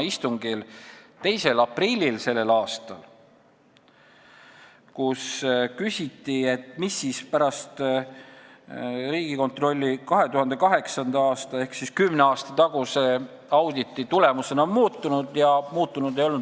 a 2. aprilli istungil, kus küsiti, mis on Riigikontrolli 2008. aastal tehtud ehk siis kümne aasta taguse auditi tulemusena muutunud.